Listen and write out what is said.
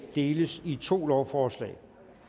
deles i to lovforslag